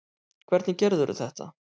Hvernig gerðirðu þetta?